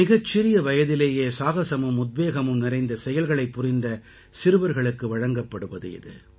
மிகச் சிறிய வயதிலேயே சாகசமும் உத்வேகமும் நிறைந்த செயல்களைப் புரிந்த சிறுவர்களுக்கு வழங்கப்படுவது இது